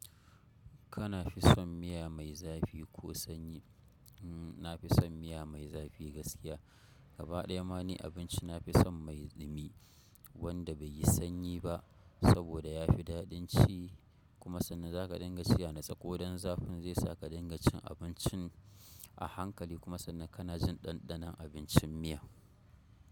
Kana fi son miya mai zafi ko sanyi? Na fi son miya mai zafi gaskiya. Gabaɗaya ma ni abinci nafi son mai ɗumi wanda bai yi sanyi ba saboda ya fi daɗin ci kuma sannan za ka dinga ci a natsa ko dan zafin ze saka ka dinga cin abincin a hankali kuma sannan kana jin ɗanɗanon abincin miya.